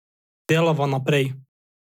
Delava naprej.